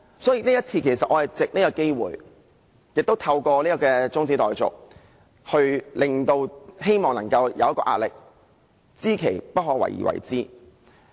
所以，這次我是藉這個機會，亦透過這項中止待續議案，希望給予政府壓力，我是知其不可為而為之。